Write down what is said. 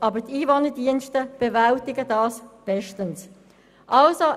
Aber die Ein Abstimmung (Ziff. 2)